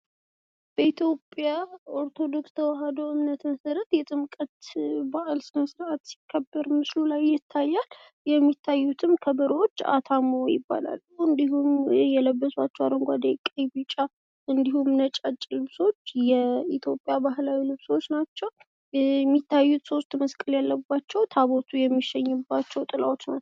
በኢትዮጵያ ኦርቶዶክስ ተዋህዶ እምነት መሰረት የጥምቀት በዓል ስነስርዓት ሲከበር ምስሉ ላይ ይታያል። የሚታዩትም ከበሮዎች አታሞ ይባላሉ፤ እንዲሁም የለበሷቸው አረንጏዴ፣ ቀይ፣ ቢጫ እንዲሁም ነጫጭ ልብሶች የኢትዮጵያ ባህላዊ ልብሶች ናቸው የሚታዩት ሶስት መስቀል ያለባቸው ታቦቱ የሚሸኝባቸው ጥላዎች ናቸው።